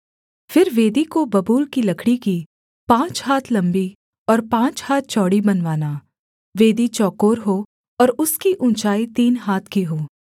फिर वेदी को बबूल की लकड़ी की पाँच हाथ लम्बी और पाँच हाथ चौड़ी बनवाना वेदी चौकोर हो और उसकी ऊँचाई तीन हाथ की हो